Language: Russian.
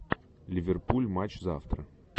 ливерпуль матч завтра